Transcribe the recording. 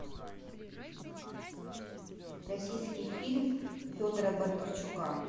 российский фильм федора бондарчука